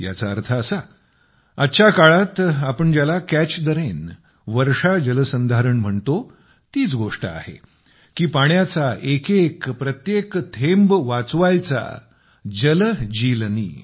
याचा अर्थ असा आजच्या काळात आपण ज्याला कॅच ठे रेन वर्षाजलसंधारण म्हणतो तीच गोष्ट आहे की पाण्याचा एकेक प्रत्येक थेंब वाचवायचा जल जीलनी